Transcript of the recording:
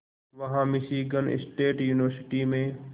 वहां Michigan state university में